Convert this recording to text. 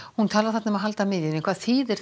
hún talaði þarna um að halda miðjunni hvað þýðir